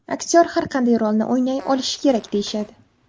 Aktyor har qanday rolni o‘ynay olishi kerak, deyishadi.